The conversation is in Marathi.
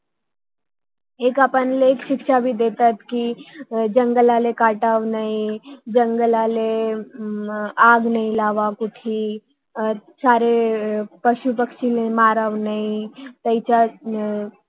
एका पाणीला अशी शिक्षा हि देतात कि जंगलाल कटावे नाही हम्म जंगलाला आह आग नाही लावावे तिथे पशुपक्षी ला मारावे अह नाही